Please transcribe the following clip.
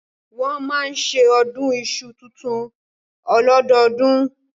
Wọ́n máa ń ṣe ọdún iṣu tuntun ọlọ́dọọdún